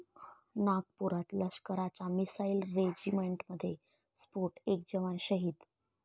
नागपुरात लष्कराच्या मिसाईल रेजिमेंटमध्ये स्फोट, एक जवान शहीद